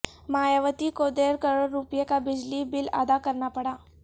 مایاوتی کوڈیڑھ کروڑ روپےکا بجلی بل ادا کرنا پڑا